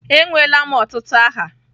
Enweela m ọtụtụ aha.